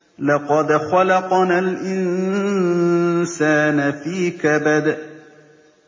لَقَدْ خَلَقْنَا الْإِنسَانَ فِي كَبَدٍ